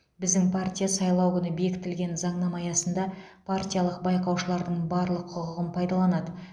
біздің партия сайлау күні бекітілген заңнама аясында партиялық байқаушылардың барлық құқығын пайдаланады